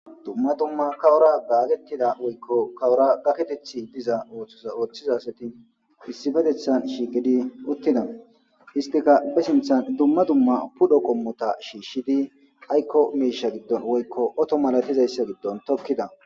Dumma dumma kawora gaagettida woykko kawora gaketethi diza ta ooththizasati issifetethan shiigedi uttida istika be sinthan dumma dumma pudho qommota shiishshidi aykko miisha giddon woykko oto malatizayssa giddon tokkida.